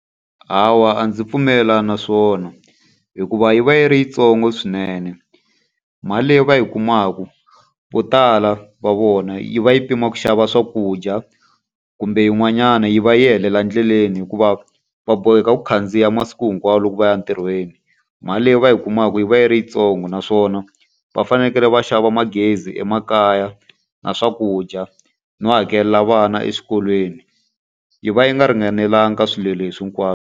Hawa a ndzi pfumelelani na swona. Hikuva yi va yi ri yitsongo swinene. Mali leyi va yi kumaka vo tala va vona yi va yi pima ku xava swakudya, kumbe yin'wanyana yi va yi helela endleleni hikuva va boheka ku khandziya masiku hinkwawo loko va ya entirhweni. Mali leyi va yi kumaka yi va yi ri yitsongo naswona va fanekele va xava magezi emakaya na swakudya, no hakelela vana eswikolweni. Yi va yi nga ringanelanga ka swilo leswi hinkwaswo.